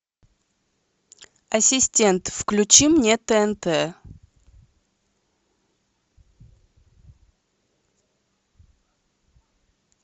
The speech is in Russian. ассистент включи мне тнт